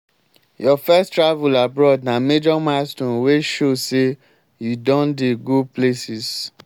your first travel abroad na major milestone wey show say you don dey go places.